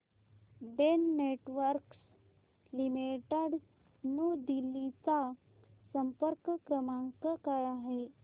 Den networks limited new Delhi चा संपर्क क्रमांक काय आहे